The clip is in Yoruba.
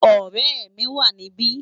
Òrè mi wá nibi